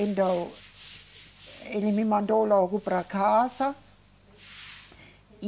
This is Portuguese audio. Então, ele me mandou logo para casa.